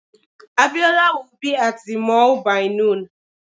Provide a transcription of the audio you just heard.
Abiola will be at the mall by noon